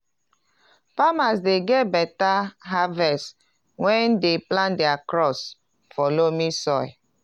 farmers dey get beta harvest when dem plant their crops for loamy soil.